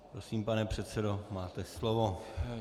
Prosím, pane předsedo, máte slovo.